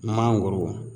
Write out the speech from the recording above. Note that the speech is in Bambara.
Mangoro